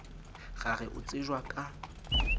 ra re o tsejwa ka